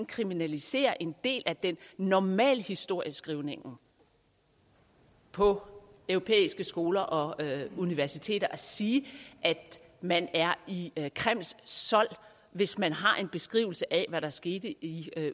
kriminalisere en del af normalhistorieskrivningen på europæiske skoler og universiteter altså at sige at man er i kremls sold hvis man har en beskrivelse af hvad der skete i